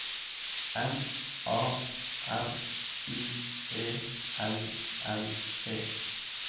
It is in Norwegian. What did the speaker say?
M A R I E L L E